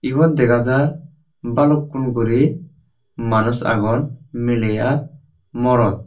ebot degajar balukkun guri manus aagon miley ar morot.